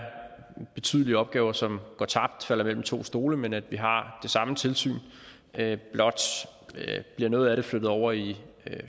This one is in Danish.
betydelige opgaver som går tabt falder mellem to stole men at vi har det samme tilsyn blot bliver noget af det flyttet over i